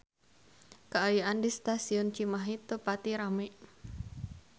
Kaayaan di Stasiun Cimahi teu pati rame